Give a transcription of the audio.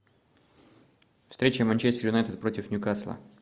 встреча манчестер юнайтед против ньюкасла